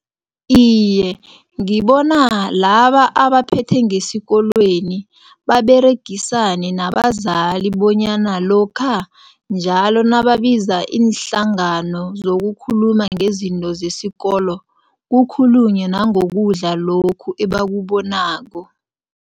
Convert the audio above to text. Iye, ngibona laba abaphethe ngesikolweni baberegisane nabazali bonyana lokha njalo nababiza iinhlangano zokukhuluma ngezinto zesikolo, kukhulunywe nangokudla lokhu ebakubonako.